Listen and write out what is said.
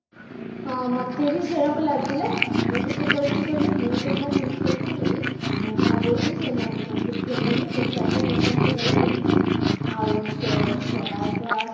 ହଁ, ମତେ ଭି ସେରକମ ଲାଗିଲା ମୁଁ କିସ କରିଛି କହିଲୁ ମୁଁ ଯାହା ଜିନିଷ କିଣିବି ମୁଁ ଭାବୁଛି ସେ ମୋତିଗଞ୍ଜ ରୁ କିଣିନେବି ଦି ଚାରି ଟା ଦୁକାନ ଦିନରେ ବୁଲିମି ଆଉ